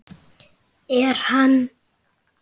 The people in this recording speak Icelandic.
En hann?